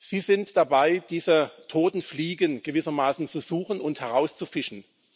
Sie sind dabei, diese toten Fliegen gewissermaßen zu suchen und herauszufischen.